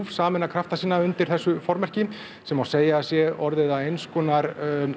sameina krafta sína undir þessu formerki sem segja má að sé orðið að eins konar